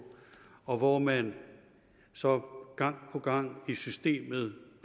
og hvor man så gang på gang i systemet